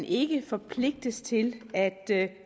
ikke kan forpligtes til at